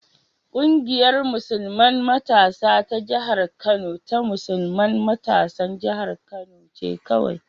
Ƙungiyar musulman matasa ta jihar Kano ta musulman matasan jihar Kano ce kawai.